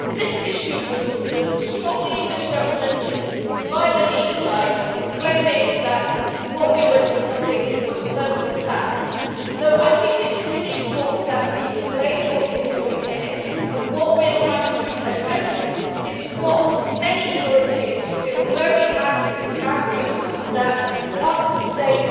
The issue was strongly misrepresented by the Leave side, claiming that what we were discussing was personal tax. I think it is really important that we explain what we are doing here and that what we are trying to address is what many Europeans feel very angry about, namely that in one state